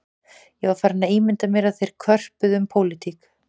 Ég var farinn að ímynda mér að þeir körpuðu um pólitík